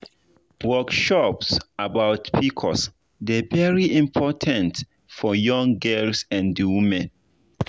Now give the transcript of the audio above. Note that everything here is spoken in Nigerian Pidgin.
workshops about pcos dey very important for young girls and women.